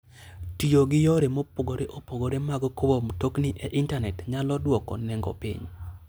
Tiyo gi yore mopogore opogore mag kowo mtokni e intanet nyalo dwoko nengo piny.